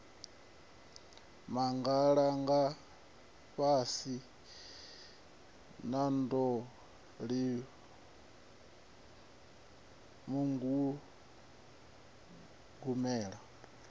magalangafhasi a ḓo simuwa mugugumelani